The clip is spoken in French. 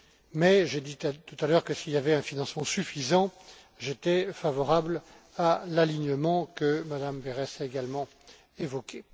Mais j'ai dit tout à l'heure que, s'il y avait un financement suffisant, j'étais favorable à l'alignement que Mme Berès a également évoqué.